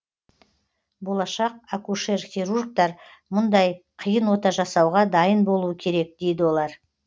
болашақ акушер хирургтар мұндай қиын ота жасауға дайын болуы керек дейді олар